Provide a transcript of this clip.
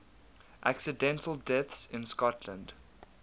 accidental deaths in scotland